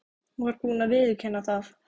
Hún var búin að viðurkenna það.